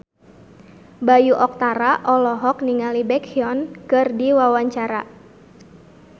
Bayu Octara olohok ningali Baekhyun keur diwawancara